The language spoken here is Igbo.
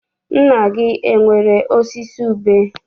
Nna gị enwere osisi ube?